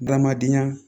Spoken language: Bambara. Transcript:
Adamadenya